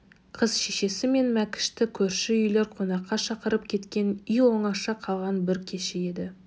қыз шешесі мен мәкішті көрші үйлер қонаққа шақырып кеткен үй оңаша қалған бір кеші еді